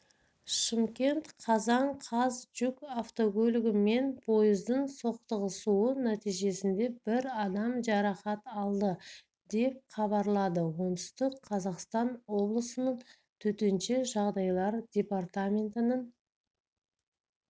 шымкент қазан қаз жүк автокөлігі мен пойыздың соқтығысуы нәтижесінде бір адам жарақат алды деп хабарлады оңтүстік қазақстан облысының төтенше жағдайлар департаментінің